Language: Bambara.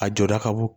A jɔda ka bon